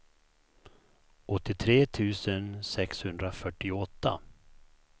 åttiotre tusen sexhundrafyrtioåtta